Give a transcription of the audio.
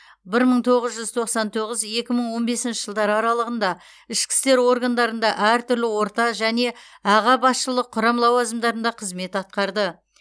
бір мың тоғыз жүз тоқсан тоғыз екі мың он бесінші жылдар аралығында ішкі істер органдарында әртүрлі орта және аға басшылық құрам лауазымдарында қызмет атқарды